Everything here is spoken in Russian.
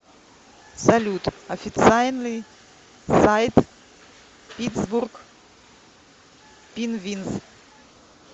салют официальный сайт питтсбург пинвинз